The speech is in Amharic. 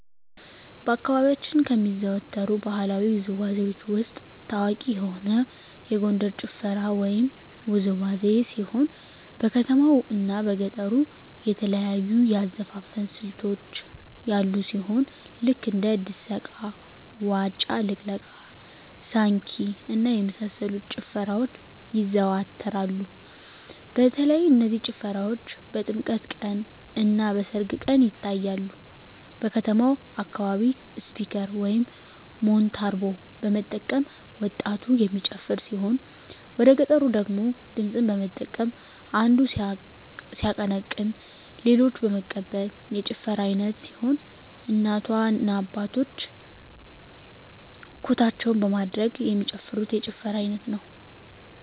በአካባቢያችን ከሚዘወተሩ ባህለዊ ውዝዋዜዎች ውስጥ ታዋቂ የሆነ የጎንደር ጭፈራ ወይም ውዝዋዜ ሲሆን በከተማው እና በገጠሩ የተለያዩ የአዘፋፈን ስልቶች ያሉ ሲሆን ልክ እንደ ድሰቃ; ዋጫ ልቅለቃ; ሳንኪ እና የመሳሰሉት ጭፈራዎች ይዘዎተራሉ በተለይ እነዚህ ጭፈራዎች በጥምቀት ቀን; እና በሰርግ ቀን ይታያሉ። በከተማው አካባቢ ስፒከር (ሞንታርቦ) በመጠቀም ወጣቱ የሚጨፍር ሲሆን ወደገጠሩ ደግሞ ድምፅን በመጠቀም አንዱ ሲያቀነቅን ሌሎች በመቀበል የጭፈራ አይነት ሲሆን እናቶ እና አባቶች ኩታቸውን በማደግደግ የሚጨፍሩት የጭፈራ አይነት ነው።